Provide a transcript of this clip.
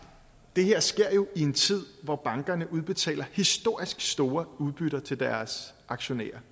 det her sker jo i en tid hvor bankerne udbetaler historisk store udbytter til deres aktionærer